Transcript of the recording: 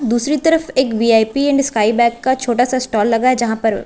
दूसरी तरफ एक वी_आई_पी एंड स्काई बैग का छोटा सा स्टाल लगा है जहां पर--